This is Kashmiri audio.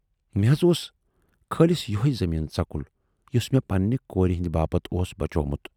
مےٚ حض اوس خٲلِص یۅہَے زمیٖنہٕ ژکُل یُس میہ پننہِ کوٗرِ ہٕندِ باپتھ اوس بچوومُت۔